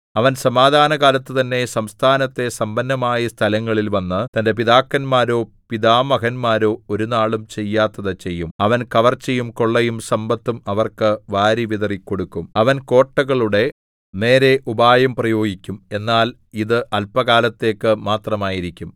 അവൻ സമാധാനകാലത്തു തന്നെ സംസ്ഥാനത്തെ സമ്പന്നമായ സ്ഥലങ്ങളിൽ വന്ന് തന്റെ പിതാക്കന്മാരോ പിതാമഹന്മാരോ ഒരുനാളും ചെയ്യാത്തത് ചെയ്യും അവൻ കവർച്ചയും കൊള്ളയും സമ്പത്തും അവർക്ക് വാരി വിതറിക്കൊടുക്കും അവൻ കോട്ടകളുടെ നേരെ ഉപായം പ്രയോഗിക്കും എന്നാൽ ഇത് അല്പകാലത്തേക്ക് മാത്രമായിരിക്കും